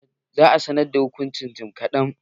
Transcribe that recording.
Za a sanar da hukuncin jim kaɗan.